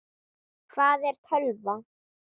Hvað er tölva?